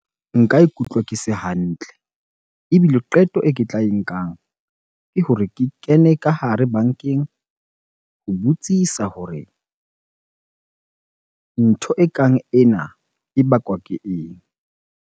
Nka ikutlwa ke se hantle ebile qeto e ke tla e nkang ke hore ke kene ka hare bankeng ho botsisa hore ntho ekang ena e bakwa ke eng?